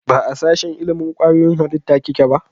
Ba a sashen ilimin kwayoyin halitta kike ba?